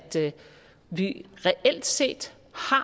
vi reelt set